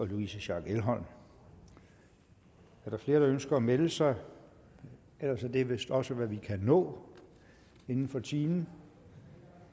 louise schack elholm er der flere der ønsker at melde sig ellers er det vist også hvad vi kan nå inden for timen